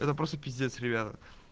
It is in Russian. это просто пиздец ребята